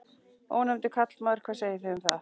Ónefndur karlmaður: Hvað segið þið um það?